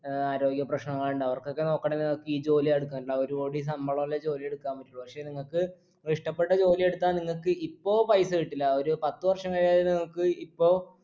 ഏർ ആരോഗ്യ പ്രശ്നങ്ങളുണ്ട് അവർക്കൊക്കെ നോക്കണെങ്കി നിങ്ങക്ക് ഈ ജോലി എടുക്കണ്ട ഒരു കോടി ശമ്പലുള്ള ജോലിയെ എടുക്കാൻ പറ്റുള്ളൂ പക്ഷേ നിങ്ങക്ക് ഇഷ്ട്ടപ്പെട്ട ജോലിയെടുത്താ നിങ്ങക്ക് ഇപ്പൊ പൈസ കിട്ടില്ല ഒരു പത്ത് വർഷം കഴിഞ്ഞാലേ നിങ്ങൾക്ക് ഇപ്പൊ